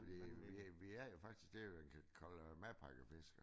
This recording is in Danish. Vi vi vi er jo faktisk det man kalde madpakkefiskere